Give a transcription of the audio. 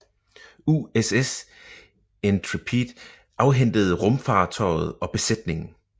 USS Intrepid afhentede rumfartøjet og besætningen